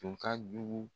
Tun ka jugu